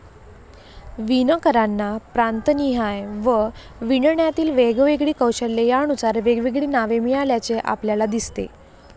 विणकरांना प्रांतनिहाय व विणण्यातील वेगवेगळी कौशल्ये यानुसार वेगवेगळी नावे मिळाल्याचे आपल्याला दिसते.